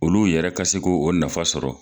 Olu yɛrɛ ka se k'o nafa sɔrɔ